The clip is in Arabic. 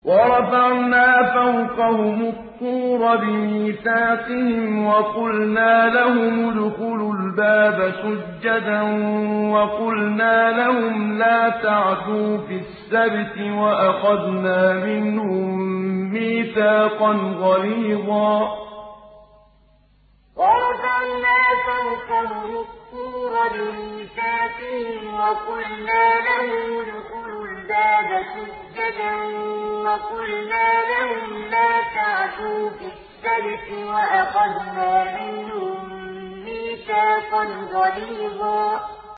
وَرَفَعْنَا فَوْقَهُمُ الطُّورَ بِمِيثَاقِهِمْ وَقُلْنَا لَهُمُ ادْخُلُوا الْبَابَ سُجَّدًا وَقُلْنَا لَهُمْ لَا تَعْدُوا فِي السَّبْتِ وَأَخَذْنَا مِنْهُم مِّيثَاقًا غَلِيظًا وَرَفَعْنَا فَوْقَهُمُ الطُّورَ بِمِيثَاقِهِمْ وَقُلْنَا لَهُمُ ادْخُلُوا الْبَابَ سُجَّدًا وَقُلْنَا لَهُمْ لَا تَعْدُوا فِي السَّبْتِ وَأَخَذْنَا مِنْهُم مِّيثَاقًا غَلِيظًا